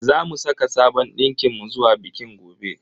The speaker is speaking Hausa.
Zamu saka sabon dinkin mu zuwa bikin gobe.